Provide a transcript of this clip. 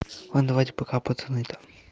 лан давайте пока пацан это